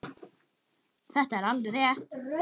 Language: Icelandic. Þetta er alveg rétt.